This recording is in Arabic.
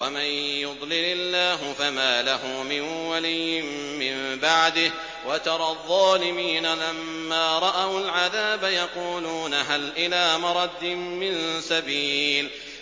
وَمَن يُضْلِلِ اللَّهُ فَمَا لَهُ مِن وَلِيٍّ مِّن بَعْدِهِ ۗ وَتَرَى الظَّالِمِينَ لَمَّا رَأَوُا الْعَذَابَ يَقُولُونَ هَلْ إِلَىٰ مَرَدٍّ مِّن سَبِيلٍ